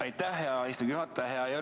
Aitäh, hea istungi juhataja!